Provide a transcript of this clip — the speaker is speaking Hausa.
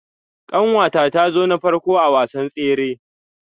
Kanwata ta zo na farko a wasan tsere.